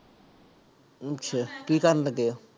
ਅੱਛਾ ਕੀ ਕਰਨ ਲੱਗੇ ਹੋ?